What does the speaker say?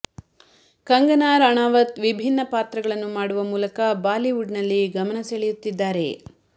ಕಂಗಾನಾ ರಾಣಾವತ್ ವಿಭಿನ್ನ ಪಾತ್ರಗಳನ್ನು ಮಾಡುವ ಮೂಲಕ ಬಾಲಿವುಡ್ ನಲ್ಲಿ ಗಮನ ಸೆಳೆಯುತ್ತಿದ್ದಾರೆ